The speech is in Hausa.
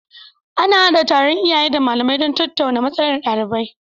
Ana hada taron iyaye da malamai don tattauna matsalar ɗalibai